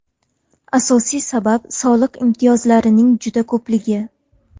Asosiy sabab soliq imtiyozlarining juda ko‘pligi.